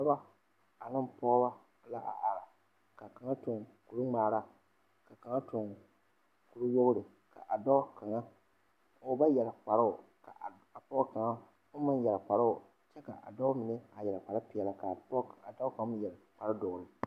Dɔba ane pɔgeba la a are ka kaŋa tuŋ kuri ŋmaara ka kaŋa tuŋ kuri wogre a dɔɔ kaŋa o ba yɛre kparoo ka a pɔge kaŋa oŋ meŋ yɛre kparoo kyɛ ka a dɔɔ mine yɛre kpare peɛle a pɔge a dɔɔ kaŋ meŋ yɛre kpare doɔre.